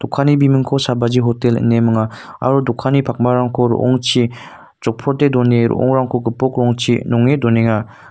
kanni bimingko sabaji hotel ine minga aro dokanni pakmarangko ro·ongchi jokprote done ro·ongrangko gipok rongchi nonge donenga.